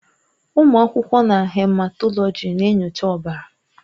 Ụmụ akwụkwọ na Hematọlọji na-enyocha ọbara.